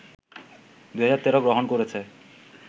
২০১৩ গ্রহণ করেছে